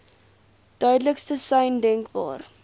duidelikste sein denkbaar